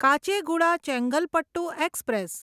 Kacheguda Chengalpattu express